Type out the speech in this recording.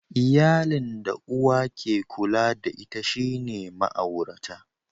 Iyalin da uwa ke kula da ita shine ma'aurata.